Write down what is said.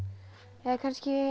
eða kannski